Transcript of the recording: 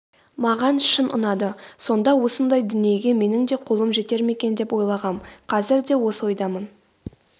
маған шын ұнады сонда осындай дүниеге менің де қолым жетер ме екен деп ойлағам қазір де осы ойдамын